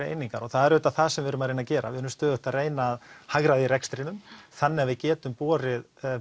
einingar og það er auðvitað það sem við erum að reyna að gera við erum stöðugt að reyna að hagræða í rekstrinum þannig að við getum boðið